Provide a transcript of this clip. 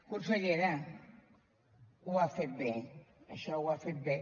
consellera ho ha fet bé això ho ha fet bé